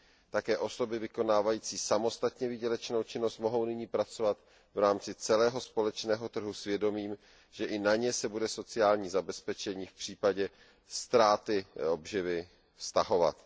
Také osoby vykonávající samostatně výdělečnou činnost mohou nyní pracovat v rámci celého společného trhu s vědomím, že i na ně se bude sociální zabezpečení v případě ztráty obživy vztahovat.